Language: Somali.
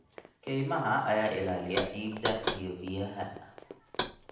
Kaymaha ayaa ilaaliya ciidda iyo biyaha.